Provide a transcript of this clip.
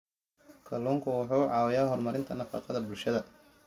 Kalluunku wuxuu caawiyaa horumarinta nafaqada bulshada.